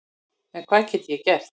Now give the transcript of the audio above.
En hvað get ég gert?